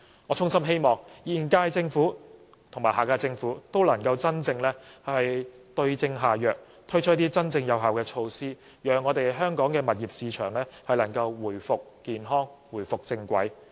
我衷心希望現屆政府和下屆政府都能夠真正對症下藥，推出真正有效的措施，讓香港物業市場回復健康、回復正軌。